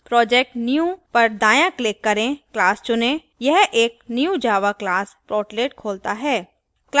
project new पर दाय़ाँclick करें class चुनें यह एक new java class portlet खोलता है